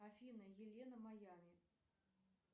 афина елена майами